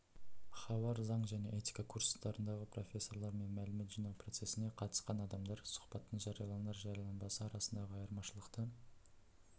хабар заң және этика курстарындағы профессорлар мен мәлімет жинау процессіне қатысқан адамдар сұхбаттың жарияланар-жарияланбасы арасындағы айырмашылықты